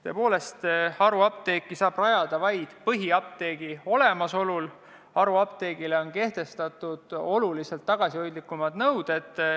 Tõepoolest, haruapteegi saab rajada vaid põhiapteegi olemasolu korral ja haruapteegile on kehtestatud oluliselt tagasihoidlikumad nõuded.